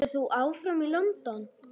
Verður þú áfram í London?